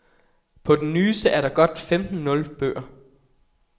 På den nyeste er der godt femten nul bøger. punktum